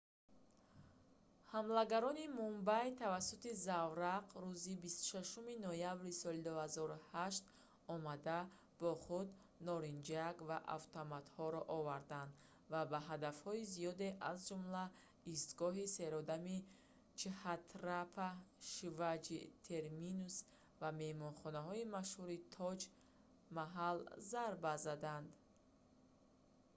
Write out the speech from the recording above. ҳамлагарони мумбай тавассути заврақ рӯзи 26-уми ноябри соли 2008 омада бо худ норинҷак ва автоматҳоро оварданд ва ба ҳадафҳои зиёде аз ҷумла истгоҳи серодами чҳатрапати шиваҷи терминус ва меҳмонхонаи машҳури тоҷ маҳал зарба заданд